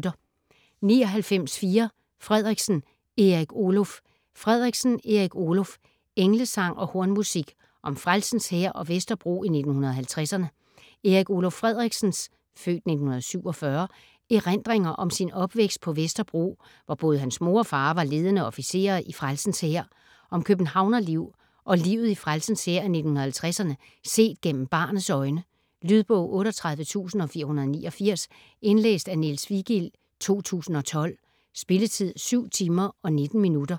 99.4 Frederiksen, Erik Oluf Frederiksen, Erik Oluf: Englesang og hornmusik: om Frelsens Hær og Vesterbro i 1950'erne Erik Oluf Frederiksens (f. 1947) erindringer om sin opvækst på Vesterbro, hvor både hans mor og far var ledende officerer i Frelsens Hær. Om københavnerliv og livet i Frelsens Hær i 1950'erne set gennem barnets øjne. Lydbog 38489 Indlæst af Niels Vigild, 2012. Spilletid: 7 timer, 19 minutter.